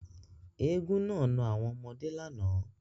Éégún naa na àwọn ọmọde làná.